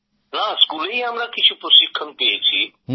না স্কুলেই আমরা কিছু প্রশিক্ষণ পেয়েছি